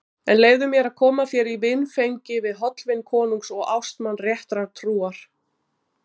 En leyfðu mér að koma þér í vinfengi við hollvin konungs og ástmann réttrar trúar.